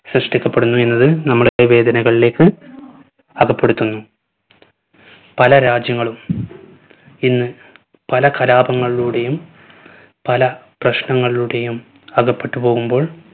സൃഷ്ടിക്കപ്പെടുന്നു എന്നത് നമ്മുടെ വേദനകളിലേക്ക് അകപ്പെടുത്തുന്നു. പല രാജ്യങ്ങളും ഇന്ന് പല കലാപങ്ങളിലൂടെയും പല പ്രശ്നങ്ങളിലൂടെയും അകപ്പെട്ടു പോകുമ്പോൾ